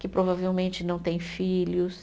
que provavelmente não têm filhos.